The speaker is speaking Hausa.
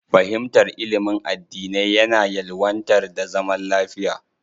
Fahimtar ilimin addinai yana ƴelwantar da zaman lafiya.